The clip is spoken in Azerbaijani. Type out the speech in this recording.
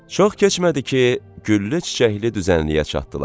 Çox keçmədi ki, güllü çiçəkli düzənliyə çatdılar.